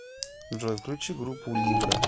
джой включи группу либра